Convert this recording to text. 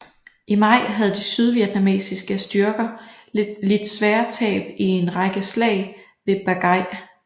I maj havde de sydvietnamesiske styrker lidt svære tab i en række slag ved Ba Gai